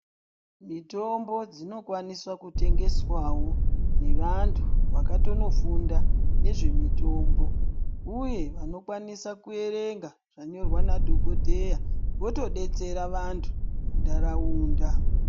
Mitombo dzinokwaniswa kutengeswawo nevantu vakatonofunda nezvemitombo. Uye vanokwanisa kuyerenga zvanyorwa nadhokodheya votodetsera vantu ndarawunda.